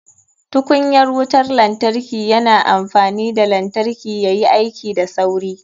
Tukunyar wutar lantarki yana amfani da lantarki yayi aiki da sauri.